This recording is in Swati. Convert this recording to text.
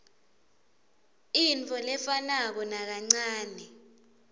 intfo lefanako nakancanei